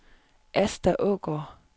Asta Aagaard